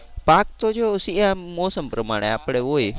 પાક તો જો શી મોસમ પ્રમાણે આપણે હોય.